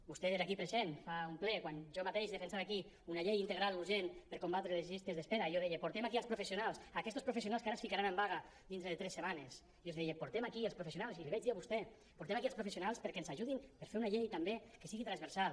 vostè era aquí present fa un ple quan jo mateix defensava aquí una llei integral urgent per a combatre les llistes d’espera i jo deia portem aquí els professionals aquestos professionals que ara es ficaran en vaga dintre de tres setmanes jo els deia portem aquí els professionals i l’hi vaig dir a vostè perquè ens ajudin per fer una llei també que sigui transversal